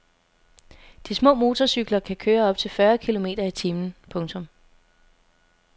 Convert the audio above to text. De små motorcykler kan køre op til fyrre kilometer i timen. punktum